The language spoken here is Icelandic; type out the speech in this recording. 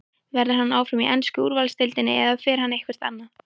Verður hann áfram í ensku úrvalsdeildinni eða fer hann eitthvert annað?